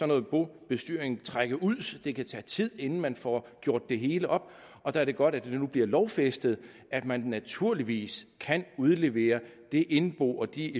noget bobestyring trække ud det kan tage tid inden man får gjort det hele op og der er det godt at det nu bliver lovfæstet at man naturligvis kan udlevere det indbo og de